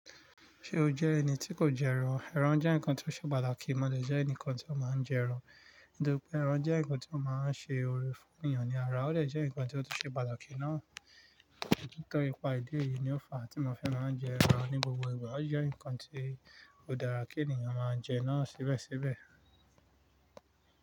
Ṣé o jẹ́ ẹni tí kò jẹ ẹran? Ẹran jẹ́ nǹkan tí ó ṣe pàtàkì, mo dè jẹ́ ẹnìkan tí ó máa ń jẹ ẹran. Nítorí pé ẹran jẹ́ nǹkan tí ó máa ń ṣe oore fún ènìyàn ní ara, ó dè jẹ́ nǹkan tí ó tun ṣe pàtàkì náà. Ntori nipa idi eyi lo fa ti mo fi maan jeran ni gbogbo igba o je nkan tio dara ki eniyan maa je naa sibesibe.